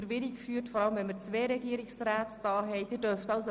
Wir haben zwei Regierungsräte bei uns.